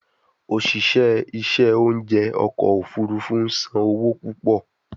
Oṣiṣẹ iṣẹ ounjẹ ọkọ ofurufu n san owo pupọ